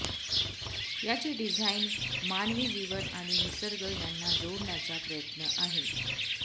याचे डिझाईन मानवी जीवन आणि निसर्ग यांना जोडण्याचा प्रयत्न आहे